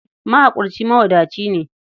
Mahaƙurci mawadaci ne.